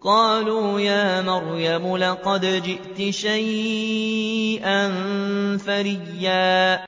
قَالُوا يَا مَرْيَمُ لَقَدْ جِئْتِ شَيْئًا فَرِيًّا